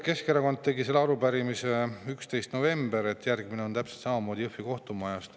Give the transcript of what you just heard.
Keskerakond tegi selle arupärimise 11. novembril, järgmine on täpselt samamoodi Jõhvi kohtumaja kohta.